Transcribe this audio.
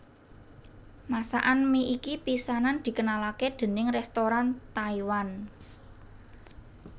Masakan mi iki pisanan dikenalake déning restoran Taiwan